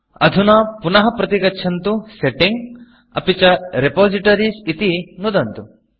अधुना पुनः प्रतिगच्छन्तु Settingसेट्टिंग् अपि च Repositoriesरिपोसिटरीस् इति नुदन्तु